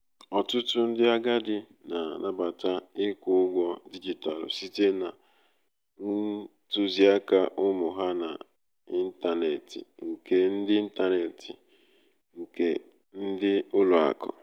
ọtụtụ ndị agadi na-anabata ịkwụ ụgwọ dijitalụ site na ntuziaka ụmụ ha na intaneeti nke ndi intaneeti nke ndi ulo aku